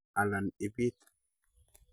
Alan ibit